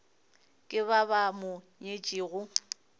ke ba ba mo nyetšego